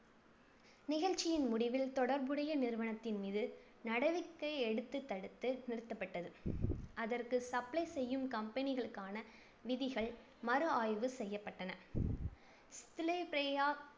நிகழ்ச்சியின் முடிவில் தொடர்புடைய நிறுவனத்தின் மீது நடவடிக்கை எடுத்து தடுத்து நிறுத்தப்பட்டது. அதற்கு supply செய்யும் company களுக்கான விதிகள் மறுஆய்வு செய்யப்பட்டன.